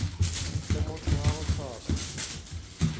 le motho wa go hloka